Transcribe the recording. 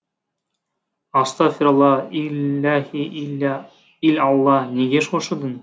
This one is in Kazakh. астафирилла иллаһи иллә ил алла неге шошыдың